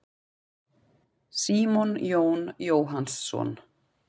Símon Jón Jóhannsson.